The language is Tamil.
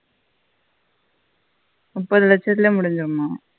முப்பது லட்சத்திலே முடிஞ்சிதும